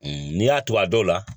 N'i y'a to a dɔw la